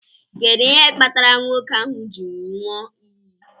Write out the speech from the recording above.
Kedu ihe kpatara nwoke ahu ji nyụọ iyi?